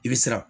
I bɛ siran